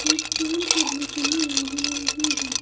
एक फोन करने के लिए लैंडलाइन भी है।